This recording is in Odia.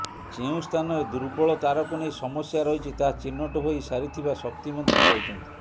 ଯେଉଁ ସ୍ଥାନରେ ଦୁର୍ବଳ ତାରକୁ ନେଇ ସମସ୍ୟା ରହିଛି ତାହା ଚିହ୍ନଟ ହୋଇ ସାରିଥିବା ଶକ୍ତିମନ୍ତ୍ରୀ କହିଛନ୍ତି